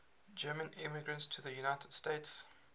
german immigrants to the united states